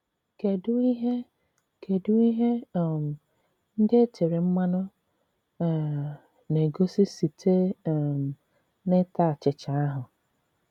Kedụ ihe Kedụ ihe um ndị e tere mmanụ um na - egosi site um n’ịta achịcha ahụ?